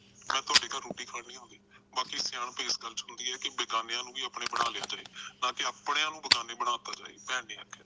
ਮੈ ਤੁਹਾਡੇ ਘਰ ਰੋਟੀ ਖਾਣ ਨਹੀਂ ਆਉਂਦੀ ਬਾਕੀ ਸਿਆਣਪ ਇਸ ਗੱਲ ਚ ਹੁੰਦੀ ਆ ਕਿ ਬੇਗਾਨਿਆ ਨੂੰ ਆਪਣੇ ਬਣਾ ਲਿਆ ਜਾਏ ਤਾਂ ਕੇ ਆਪਣੀਆਂ ਨੂੰ ਬੇਗਾਨੇ ਬਣਾ ਤਾ ਜਾਵੇ ਭੈਣ ਨੇ ਆਖਿਆ